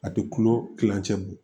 A tɛ kulo kilancɛ bɔ